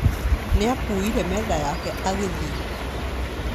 Nĩakuire metha yake agĩthi